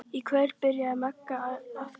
Í kvöld byrjaði Magga að grúfa.